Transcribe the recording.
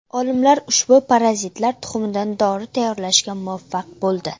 Olimlar ushbu parazitlar tuxumidan dori tayyorlashga muvaffaq bo‘ldi.